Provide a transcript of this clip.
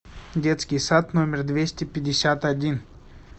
детский сад номер двести пятьдесят один